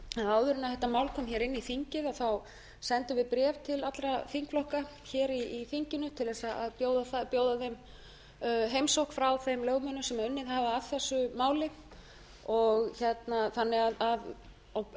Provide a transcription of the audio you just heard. að áður en þetta mál kom hér inn í þingið sendum við bréf til allra þingflokka hér í þinginu til að bjóða þeim heimsókn frá þeim lögmönnum sem unnið hafa að þessu máli